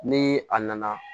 Ni a nana